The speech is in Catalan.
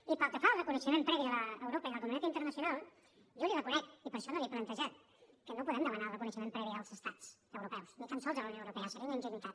i pel que fa al reconeixement previ d’europa i de la comunitat internacional jo li reconec i per això no l’hi he plantejat que no podem demanar el reconeixement previ dels estats europeus ni tal sols de la unió europea seria una ingenuïtat